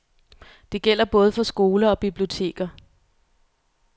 Det gælder både for skoler og biblioteker.